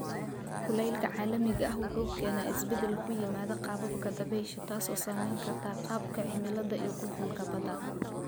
Kulaylka caalamiga ah wuxuu keenaa isbeddel ku yimaada qaababka dabaysha, taas oo saameyn karta qaabka cimilada iyo qulqulka badda.